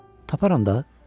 Taparam da.